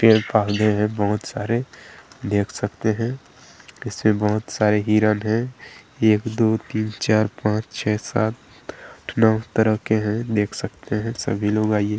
पेड़ - पौधे हैं बहुत सारे देख सकते हैं किसी बहुत सारे हिरन हैं एक दो तीन चार पांच छः सात आठ नौ तरह के हैं देख सकते है सभी लोग आइये --